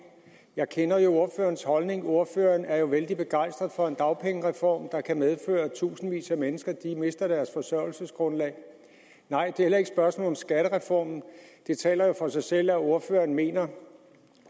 jeg kender jo ordførerens holdning ordføreren er vældig begejstret for en dagpengereform der kan medføre at tusindvis af mennesker mister deres forsørgelsesgrundlag nej det er et spørgsmål om skattereformen det taler jo for sig selv at ordføreren mener